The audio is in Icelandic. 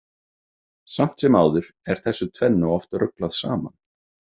Samt sem áður er þessu tvennu oft ruglað saman.